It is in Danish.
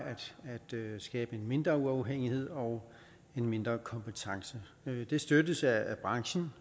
og skabe mindre uafhængighed og mindre kompetence det støttes af branchen